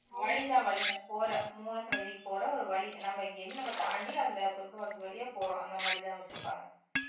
வழிதான் வழிதான் போற மூல சன்னதிக்கு போற ஒரு வழி நம்ம இங்கிருந்து நம்ம தாண்டி அந்த சொர்க்க வாசல் வழியா போறோம் அந்த மாதிரிதான் வச்சுருப்பாங்க